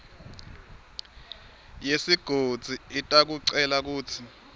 yesigodzi itakucela kutsi